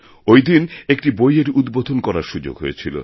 ওইদিন একটি বইয়ের উদ্বোধন করার সুযোগ হয়েছিল